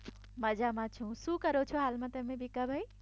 મજામાં છું શું કરો છો હાલમાં તમે ભીખાભાઇ.